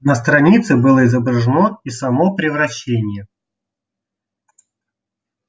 на странице было изображено и само превращение